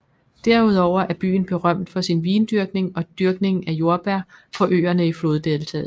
Derudover er byen berømt for sin vindyrkning og dyrkning af jordbær på øerne i floddeltaet